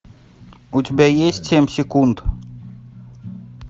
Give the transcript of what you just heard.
у тебя есть семь секунд